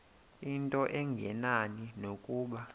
into engenani nokuba